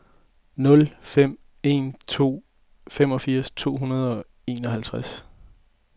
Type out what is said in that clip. nul fem en to femogfirs to hundrede og enoghalvtreds